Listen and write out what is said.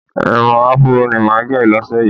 Irun Afúró ni màá gẹ̀ lọ́sẹ̀ yìí